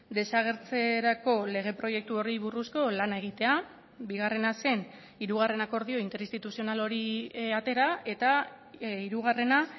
desagertzerako lege proiektu horri buruzko lana egitea bigarrena zen hirugarren akordio interinstituzional hori atera eta hirugarrena